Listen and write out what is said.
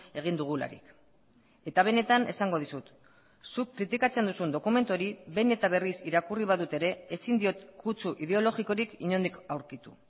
egin dugularik eta benetan esango dizut zuk kritikatzen duzun dokumentu hori behin eta berriz irakurri badut ere ezin diot kutsu ideologikorik inondik aurkitu